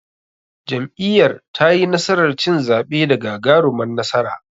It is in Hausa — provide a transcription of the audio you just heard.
Jam'iyyar tayi nasarar cin zaɓe da gagarumar nasara.